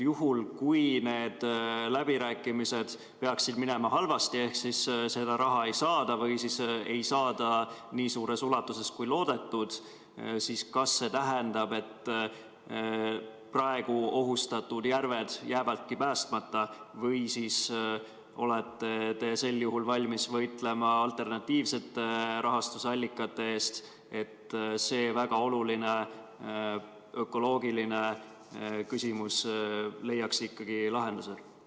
Juhul kui need läbirääkimised peaksid minema halvasti ehk seda raha ei saada või ei saada nii suures ulatuses, kui loodetud, siis kas see tähendab, et praegu ohustatud järved jäävadki päästmata või olete te sel juhul valmis võitlema alternatiivsete rahastusallikate eest, et see väga oluline ökoloogiline küsimus leiaks ikkagi lahenduse?